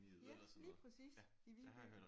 Ja lige præcis i Viby